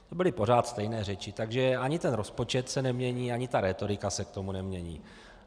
To byly pořád stejné řeči, takže ani ten rozpočet se nemění, ani ta rétorika se k tomu nemění.